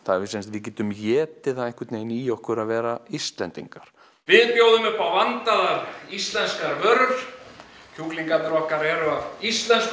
við getum étið það í okkur að vera Íslendingar við bjóðum upp á vandaðar íslenskar vörur kjúklingarnir okkar eru af íslenskum